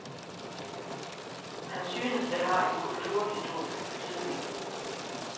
Han synes, det har en kulturhistorisk betydning.